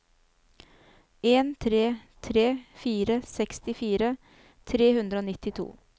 en tre tre fire sekstifire tre hundre og nittito